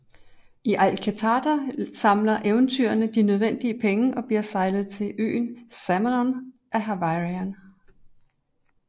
I Athkatla samler eventyrerne de nødvendige penge og bliver sejlet til øen af Saemon Havarian